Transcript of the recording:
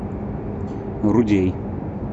рудей